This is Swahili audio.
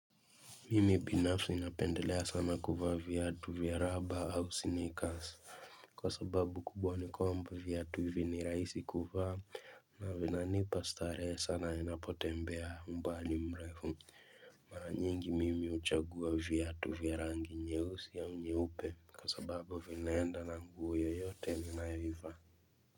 Mimi binafsi napendelea sana kuvaa viatu vya raba au snikas. Kwa sababu kubwa nikwamba viata hivi ni rahisi kuvaa na vinanipa starehe sana ninapotembea umbali mrefu. Mara nyingi mimi huchagua viatu vya rangi nyeusi au nyeupe. Kwa sababu vinaenda na nguo yoyote ninayoivaa.